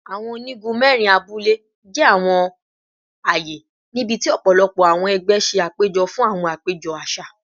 Awọn onigun mẹrin abule jẹ awọn aaye nibiti ọpọlọpọ awọn ẹgbẹ ṣe apejọ fun awọn apejọ aṣa